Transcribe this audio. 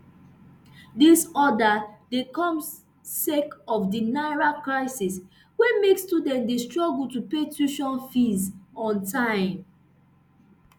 dis order dey come sake of di naira crisis wey make students dey struggle to pay tuition fees on time